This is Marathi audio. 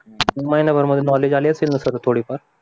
महिनाभर मध्ये नॉलेज आले असेल ना सर थोडे फार